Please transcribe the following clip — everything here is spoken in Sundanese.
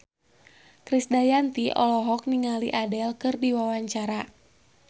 Krisdayanti olohok ningali Adele keur diwawancara